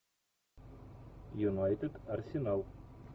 юнайтед арсенал